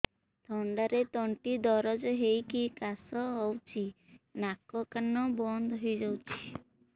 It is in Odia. ଥଣ୍ଡାରେ ତଣ୍ଟି ଦରଜ ହେଇକି କାଶ ହଉଚି ନାକ ବନ୍ଦ ହୋଇଯାଉଛି